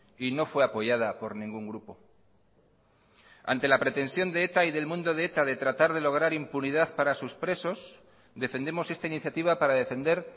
y no fue apoyada por ningún grupo ante la pretensión de eta y del mundo de eta de tratar de lograr impunidad para sus presos defendemos esta iniciativa para defender